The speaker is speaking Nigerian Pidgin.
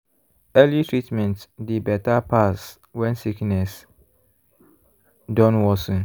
early treatment dey better pass when sickness don worsen.